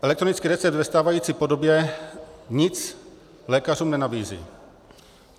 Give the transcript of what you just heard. Elektronický recept ve stávající podobě nic lékařům nenabízí.